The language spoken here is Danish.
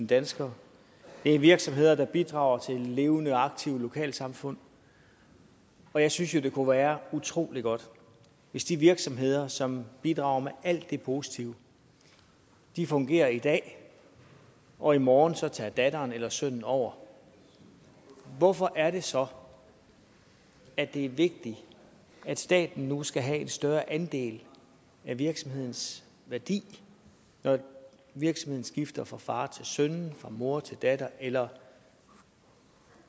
danskere det er virksomheder der bidrager til levende aktive lokalsamfund og jeg synes jo det kunne være utrolig godt hvis de virksomheder som bidrager med alt det positive fungerer i dag og i morgen så tager datteren eller sønnen over hvorfor er det så at det er vigtigt at staten nu skal have en større andel af virksomhedens værdi når virksomheden skifter fra far til søn fra mor til datter eller